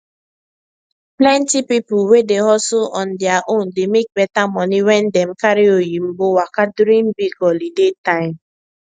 plenty people wey dey hustle on their own dey make better money when dem carry oyinbo waka during big holiday time